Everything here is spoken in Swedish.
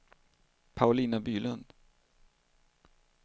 Paulina Bylund